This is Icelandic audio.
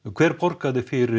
hver borgaði fyrir